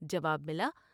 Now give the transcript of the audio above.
جواب ملا ۔